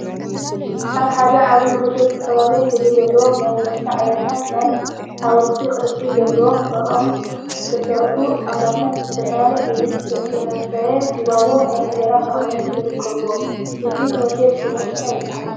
አብ ሓደ ዓብይ ሆቴለ ዝተፈላለየ ሕብሪ ዘለዎም ናይ መስተ ዓይነታትን ናይ ሓወልቲ ቅርፂ ዘለዎም ብኦም ዝተሰርሑ ጣውላታትን ብዝተፈላለየ ሕብሪ ዝተሰፈየ ጊባቦ ናይ እንጀራ መቀመጢን ይርከቡዎም፡፡ እዚ ሆቴል ሽሙ እንታይ ይበሃል?